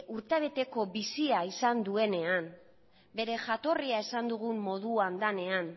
urtebeteko bizia izan duenean bere jatorria esan dugun moduan denean